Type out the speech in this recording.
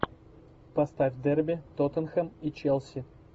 поставь дерби тоттенхэм и челси